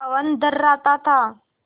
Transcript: पवन थर्राता था